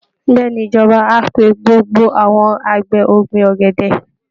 Bẹ́ẹ̀ ni, ìjọba á pe gbogbo àwọn àgbẹ̀ ọ̀gbìn ọ̀gẹ̀dẹ̀